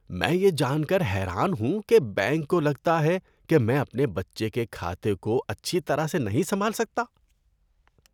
میں یہ جان کر حیران ہوں کہ بینک کو لگتا کہ میں اپنے بچے کے کھاتے کو اچھی طرح سے نہیں سنبھال سکتا۔